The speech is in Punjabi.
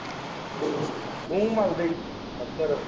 ਮੂੰਹ ਮਲਦੇ ਹੀ ਅਕਸਰ।